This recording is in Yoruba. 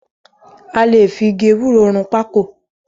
A lè fi igi ewúro run pákò.